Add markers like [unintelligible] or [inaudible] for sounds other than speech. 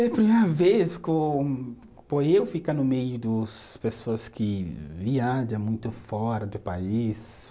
É a primeira vez [unintelligible] por eu ficar no meio [unintelligible] pessoas que viaja muito fora do país.